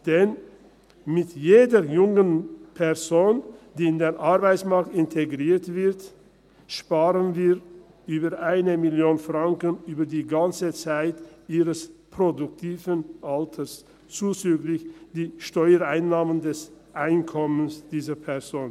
Denn mit jeder jungen Person, die in den Arbeitsmarkt integriert wird, sparen wir über 1 Mio. Franken, über die ganze Zeit ihres produktiven Alters, zuzüglich der Steuereinnahmen des Einkommens dieser Person.